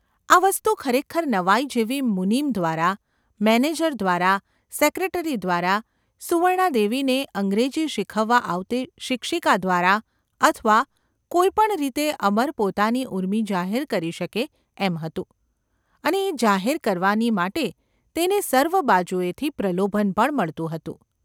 આ વસ્તુ ખરેખર નવાઈ જેવી ​ મુનિમ દ્વારા, મેનેજર દ્વારા, સેક્રેટરી દ્વારા, સુવર્ણા દેવીને અંગ્રેજી શીખવવા આવતી શિક્ષિકા દ્વારા અથવા કોઈ પણ રીતે અમર પોતાની ઊર્મિ જાહેર કરી શકે એમ હતું; અને એ જાહેર કરવાની માટે તેને સર્વ બાજુએથી પ્રલોભન પણ મળતું હતું.